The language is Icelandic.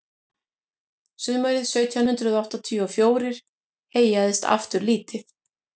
sumarið sautján hundrað áttatíu og fjórir heyjaðist aftur lítið